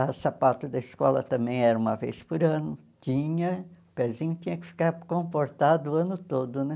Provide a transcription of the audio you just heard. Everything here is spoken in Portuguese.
A sapato da escola também era uma vez por ano, tinha, o pezinho tinha que ficar comportado o ano todo, né?